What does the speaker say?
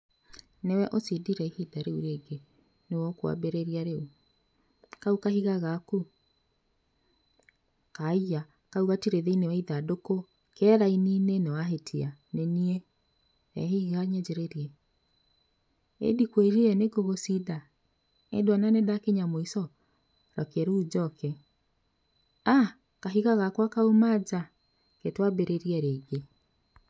Nĩwe ũcindire hinda rĩu rĩngĩ, nĩwe ũkwambĩrĩria rĩu, kau kahiga gaku. Haiya, kau gatirĩ thĩinĩ wa ithandũkũ, ke raini-inĩ, nĩwahĩtia, nĩniĩ, rehe ihiga nyanjĩrĩrie, ĩndikwĩrire nĩ ngũgũcinda, ĩnduona nĩndakinya mũico. Reke rĩu njoke, aa, kahiga gakwa kauma nja, reke nĩtwambĩrĩrie rĩngĩ.